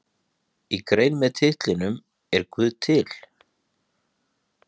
Í grein með titlinum Er guð til?